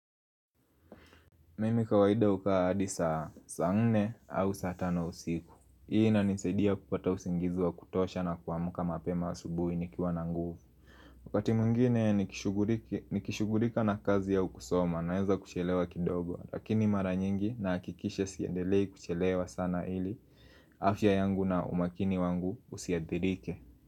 Mimi kawaida huka hadi saa 4 au saa 5 usiku Hii inanisadia kupata usingizi wa kutosha na kuamka mapema wa asubuhi nikiwa na nguvu Wakati mwingine nikishugulika na kazi au kusoma naeza kuchelewa kidogo Lakini mara nyingi nahakikisha siendelei kuchelewa sana ili afya yangu na umakini wangu usiadhirike.